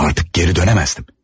Amma artıq geri dönə bilməzdim.